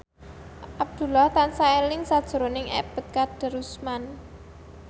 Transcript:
Abdullah tansah eling sakjroning Ebet Kadarusman